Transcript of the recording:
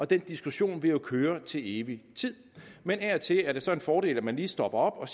den diskussion vil jo køre til evig tid men af og til er det så en fordel at man lige stopper op og